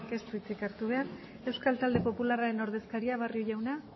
ez du hitzik hartu behar euskal talde popularraren ordezkaria barrio jaunak